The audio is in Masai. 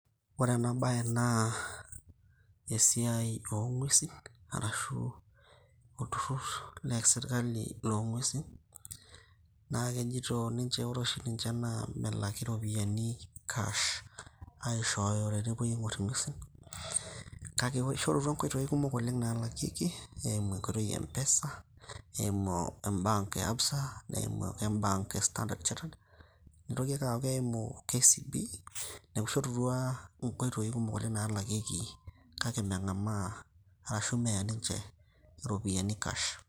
Ore ena baye naa esiai oo ng`uesin arashu olturrur le sirkali loo ng`uesin. Naa kejoito ninche ore oshi ninche naa melaki irropiyiani cash. Aishooyo tenepuoi aing`orr ing`uesin kake eishorutua nkoitoi kumok oleng naalakieki eimu enkoitoi e mpesa, eimu embank e ABSA neimu embank e standard chatterd neitoki ake aaku keim KCB. Niaku ishorutua nkoitoi kumok oleng naalakieki kake meng`amaa, arashu meya ninche irropiyiani cash.